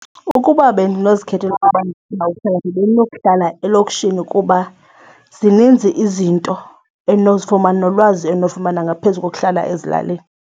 Ukuba bendinozikhethela ukuba ndizawuhlala bendinokuhla elokishini kuba zininzi izinto endinozifumana nolwazi endinolufumana ngaphezu kokuhlala ezilalini.